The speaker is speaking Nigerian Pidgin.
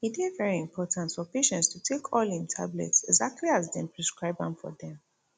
e dey very important for patients to take all im tablets exactly as dem prescribe am for dem